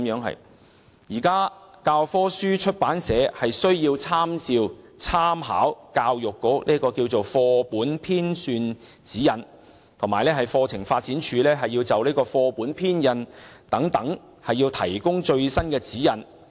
現時教科書出版社在編寫教科書時，須參照教育局的《課本編纂指引》及課程發展處就課本編印等事宜提供的最新指引。